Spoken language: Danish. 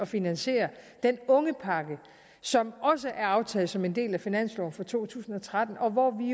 finansiere den ungepakke som også er aftalt som en del af finansloven for to tusind og tretten og hvormed